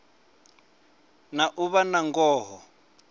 na u vha na ngoho